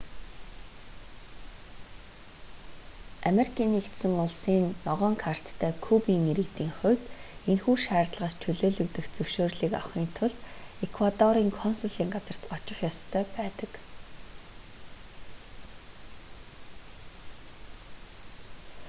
ану-ын ногоон карттай кубын иргэдийн хувд энэхүү шаардлагаас чөлөөлөгдөх зөвшөөрлийг авахын тулд эквадорын консулын газарт очих ёстой байдаг